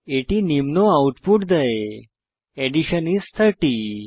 এটি নিম্ন আউটপুট দেয় অ্যাডিশন আইএস 30